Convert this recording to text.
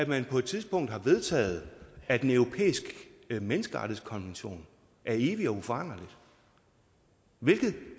man på et tidspunkt har vedtaget at den europæiske menneskerettighedskonvention er evig og uforanderlig hvilket